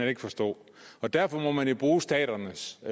ikke forstå derfor må man jo bruge staternes og